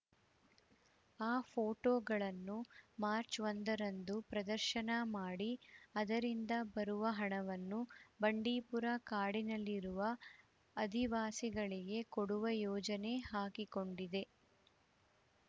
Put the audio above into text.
ಆ ಫೋಟೋಗಳನ್ನು ಮಾರ್ಚ್ ಒಂದರಂದು ಪ್ರದರ್ಶನ ಮಾಡಿ ಅದರಿಂದ ಬರುವ ಹಣವನ್ನು ಬಂಡೀಪುರ ಕಾಡಿನಲ್ಲಿರುವ ಅದಿವಾಸಿಗಳಿಗೆ ಕೊಡುವ ಯೋಜನೆ ಹಾಕಿಕೊಂಡಿದ್ದೆ